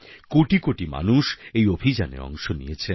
কোটি কোটি মানুষ এই অভিযানে অংশ নিয়েছেন